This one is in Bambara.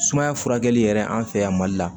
Sumaya furakɛli yɛrɛ an fɛ yan mali la